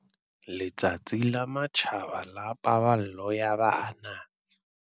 Letsatsi la Matjhaba la Paballo ya Bana